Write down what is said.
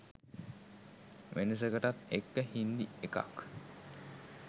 වෙනසකටත් එක්ක හින්දි එකක්